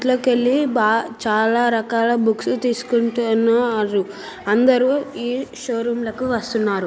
దీన్ట్లోకెళ్ళి బాగ చాలా రకాల బుక్స్ తీసుకుంటూ న ఉన్నారు. అందరు ఈ షోరూం లకు వస్తున్నారు.